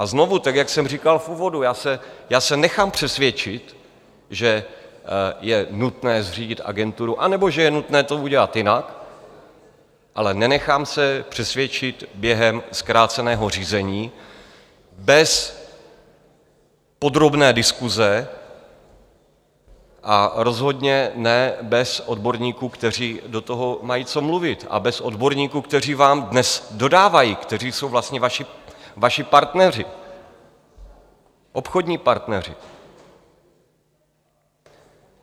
A znovu, tak jak jsem říkal v úvodu: já se nechám přesvědčit, že je nutné zřídit agenturu anebo že je nutné to udělat jinak, ale nenechám se přesvědčit během zkráceného řízení bez podrobné diskuse a rozhodně ne bez odborníků, kteří do toho mají co mluvit, a bez odborníků, kteří vám dnes dodávají, kteří jsou vlastně vaši partneři, obchodní partneři.